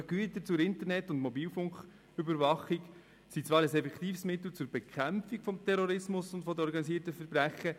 Gerade Güter zur Internet- und Mobilfunküberwachung sind zwar ein effektives Mittel zur Bekämpfung des Terrorismus und des organisierten Verbrechens.